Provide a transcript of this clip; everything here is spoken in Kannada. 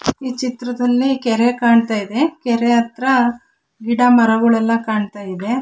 ಈ ಚಿತ್ರದಲ್ಲಿ ಕೆರೆ ಕಾಣತ್ತಾ ಇದೆ ಕೆರೆ ಹತ್ರ ಗಿಡಮರಗುಳೆಲ್ಲಾ ಕಾಣತ್ತಾ ಇದೆ.